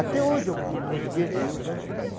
Até hoje eu não esqueço, eu canto também.